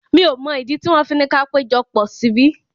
Mi ò mọ̀ ìdí tí wọ́n fi ni ka péjọpọ̀ síbí.